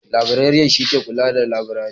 Labireriyan shi ne shugaban labirari.